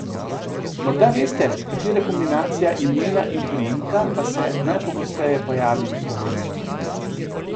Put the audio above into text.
Morda vesta, katera kombinacija imena in priimka pa se najpogosteje pojavi v Sloveniji?